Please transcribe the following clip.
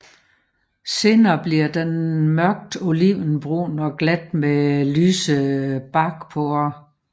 Senere bliver den mørkt olivenbrun og glat med lyse barkporer